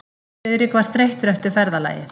Friðrik var þreyttur eftir ferðalagið.